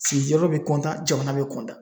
Sigiyɔrɔ bɛ jamana bɛ kɔntan